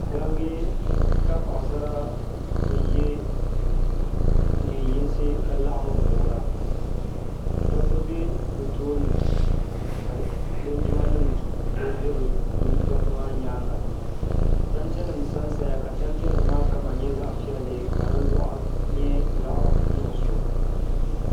gabiga ka paɣisara kuli ye neen- yinsi ka laɣim n-voora dɔbba be bɛ tooni ka linjimanima be dɔbba maa nyaaŋa tantenima sansaya ka tanteni---m-a kama nyɛ zaɣ' piɛlli ka